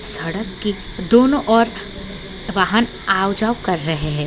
सड़क के दोनों ओर वाहन आओ-जाओ कर रहे हैं।